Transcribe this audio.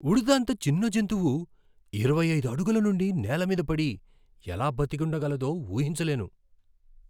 ఉడుత అంత చిన్న జంతువు ఇరవై ఐదు అడుగుల నుండి నేల మీద పడి ఎలా బతికుండగలదో ఊహించలేను.